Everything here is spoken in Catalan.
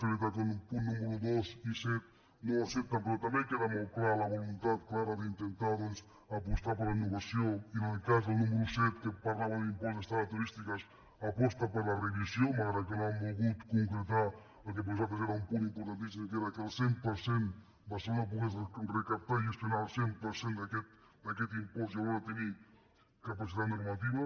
és veritat que els punts números dos i set no els accepten però també queda molt clara la voluntat clara d’inten·tar apostar per la innovació i en el cas del número set que parlava d’impost d’estades turístiques aposta per la revisió malgrat que no han volgut concretar el que per a nosaltres era un punt importantíssim que era que el cent per cent barcelona pogués recaptar i gestionar el cent per cent d’aquest impost i alhora te·nir capacitat normativa